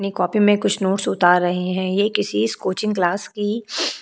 अपनी कॉपी में कुछ नोट्स उतार रहे हैं ये किसी कोचिंग क्लास की --